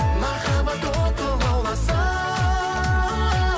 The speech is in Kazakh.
махаббат оты лауласын